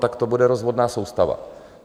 Tak to bude rozvodná soustava.